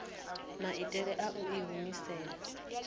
maitele a u i humisela